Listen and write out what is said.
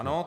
Ano.